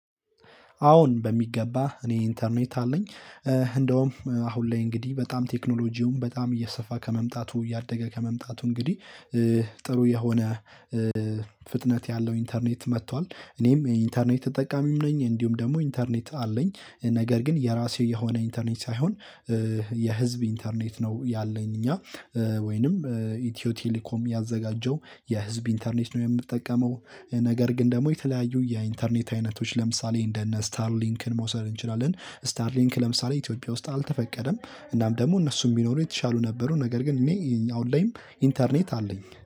አወን በሚገባ እኔ ኢንተርኔት አለኝ እንደውም አሁን ላይ እንግዲህ በጣም ቴክኖሎጂውም በጣም እየሰፋ ከመምጣቱ እያደገ ከመምጣቱ እንግዲህ ጥሩ የሆነ ፍጥነት ያለው ኢንተርኔት መጥቷል። እኔም ኢንተርኔት ተጠቃሚም ነኝ እንዲሁም ደግሞ ኢንተርኔት አለኝ ነገር ግን የራሴ የሆነ ኢንተርኔት ሳይሆን የህዝብ ኢንተርኔት ነው ያለኝ። እኛ ወይንም ኢትዮ ቴሌኮም ያዘጋጀው የህዝብ ኢንተርኔት ነው የምጠቀመው። ነገር ግን ደግሞ የተለያዩ የኢንተርኔት አይነቶች ለምሳሌ እንደ እነ ስታር ሊንክን መውሰድ እንችላለን። ስታር ሊንክ ለምሳሌ ኢትዮጵያ ውስጥ አልተፈቀደም እናም ደግሞ እነሱ የሚኖሩ የተሻሉ ነበሩ ነገር ግን እኔ አሁን ላይም ኢንተርኔት አለኝ